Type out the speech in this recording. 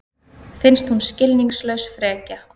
Finnst hún skilningslaus frekja.